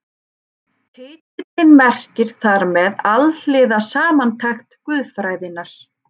Titillinn merkir þar með Alhliða samantekt guðfræðinnar.